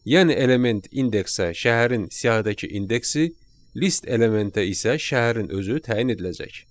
Yəni element indeksə şəhərin siyahıdakı indeksi, list elementə isə şəhərin özü təyin ediləcək.